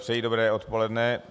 Přeji dobré odpoledne.